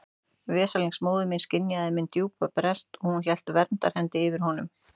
Veslings móðir mín skynjaði minn djúpa brest og hún hélt verndarhendi yfir honum.